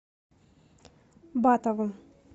батову